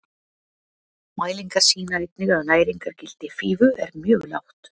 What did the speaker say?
Mælingar sýna einnig að næringargildi fífu er mjög lágt.